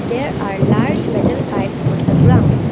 There are large metal pipes on the ground.